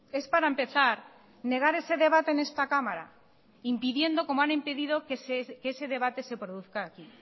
es para empezar negar ese debate en esta cámara impidiendo como han impedido que ese debate se produzca aquí